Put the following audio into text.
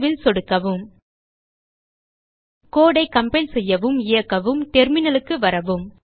save ல் சொடுக்கவும் code ஐ கம்பைல் செய்யவும் இயக்கவும் டெர்மினல் க்கு வரவும்